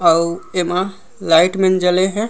अउ एमा लाइट मन जले हे।